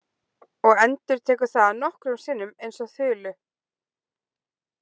Og endurtekur það nokkrum sinnum eins og þulu.